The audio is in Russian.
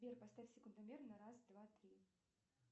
сбер поставь секундомер на раз два три